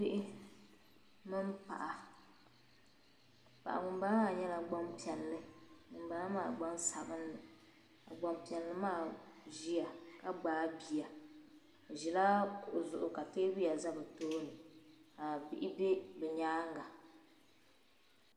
Bihi mini paɣa paɣi ŋun bala maa nyɛla gban piɛli ŋun bala maa gban sabinli. ka gban piɛli maa ziya ka gbaa biya ɔzila kuɣu zuɣu ka teebuya zɛ bitooni ka bihi be bi nyaaŋa.